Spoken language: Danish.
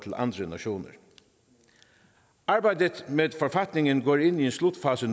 andre nationer arbejdet med forfatningen går nu ind i en slutfase